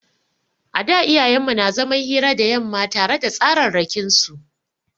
A da iyayen mu na zaman hira da yamma tare da tsararrakin su.